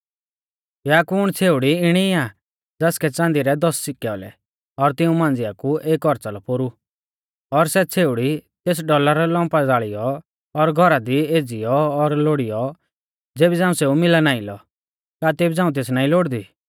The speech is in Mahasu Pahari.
या कुण छ़ेउड़ी इणी आ ज़ासकै च़ांदी रै दस डौलर औलै और तिऊं मांझ़िया कु एक औच़ा लौ पोरु और सै छ़ेउड़ी तेस डौलर लौम्पा ज़ाल़ियौ और घौरा दी एज़ियौ और लोड़ीयौ ज़ेबी झ़ांऊ सेऊ मिला नाईं लौ का तेबी झ़ांऊ तेस नाईं लोड़दी